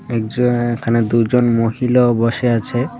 এক জায়গায় এখানে দুজন মহিলাও বসে আছে .